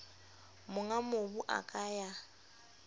monga mobu a ka ya